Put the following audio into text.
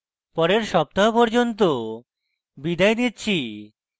পরের সপ্তাহ পর্যন্ত বিদায় নিচ্ছি